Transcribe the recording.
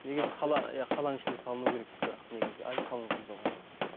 негіз қала иә қаланың ішінде салыну керек бірақ негізі әлі салынған жоқ оны